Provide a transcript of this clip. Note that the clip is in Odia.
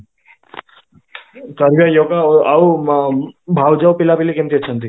yoga ଆଉ ଉମ ଭାଉଜ ଆଉ ପିଲା ପିଲି କେମିତି ଅଛନ୍ତି?